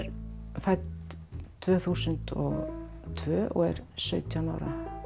fædd tvö þúsund og tvö og er sautján ára